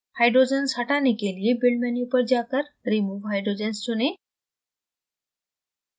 hydrogens हटाने के लिए build menu पर जाकर remove hydrogens चुनें